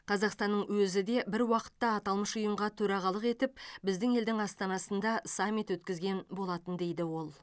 қазақстанның өзі де бір уақытта аталмыш ұйымға төрағалық етіп біздің елдің астанасында саммит өткізген болатын дейді ол